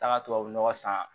Taga tubabu nɔgɔ san